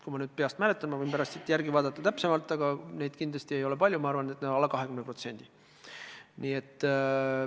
Kui ma nüüd peast mäletan – ma võin pärast täpsemalt järele vaadata –, siis on neid, ma arvan, alla 20%.